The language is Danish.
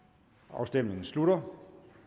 afstemningen slutter